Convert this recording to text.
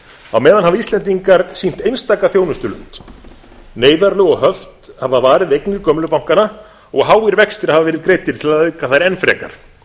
á meðan hafa íslendingar sýnt einstaka þjónustulund neyðarlög og höft hafa varið eignir gömlu bankanna og háir vextir hafa verið greiddir til að auka þær enn frekar